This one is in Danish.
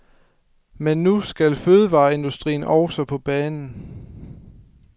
Men nu skal fødevareindustrien også på banen.